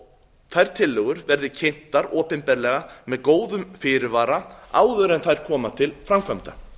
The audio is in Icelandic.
og þær tillögur verði kynntar opinberlega með góðum fyrirvara áður en þær koma til framkvæmda